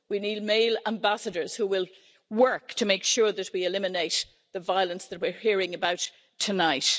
We need male ambassadors who will work to make sure that we eliminate the violence that we're hearing about tonight.